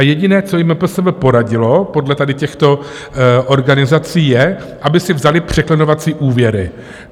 A jediné, co jim MPSV poradilo podle tady těchto organizací, je, aby si vzaly překlenovací úvěry.